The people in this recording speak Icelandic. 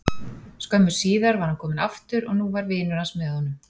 Skömmu síðar var hann kominn aftur og nú var vinur hans með honum.